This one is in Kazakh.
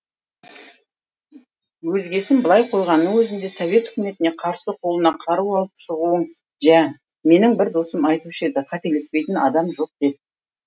өзгесін былай қойғанның өзінде совет өкіметіне қарсы қолына қару алып шығуын жә менің бір досым айтушы еді қателеспейтін адам жоқ деп